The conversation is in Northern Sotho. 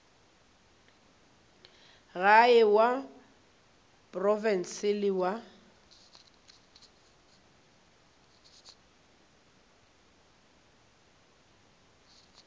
gae wa profense le wa